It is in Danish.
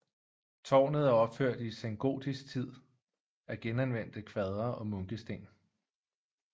Tårnet er opført i sengotisk tid af genanvendte kvadre og munkesten